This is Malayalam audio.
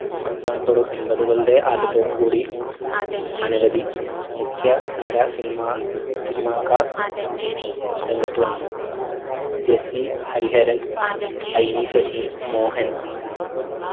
അവസാനത്തോടും എമ്പതുകളുടെ ആദ്യത്തോടും കൂടി അനവധി മുഖ്യ ധാര cinema cinema ക്കാർ രംഗത്ത് വന്നു. ജെസ്സി ഹരിഹരൻ IV ശശി മോഹൻ